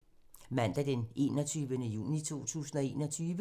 Mandag d. 21. juni 2021